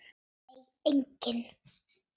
Nei engin.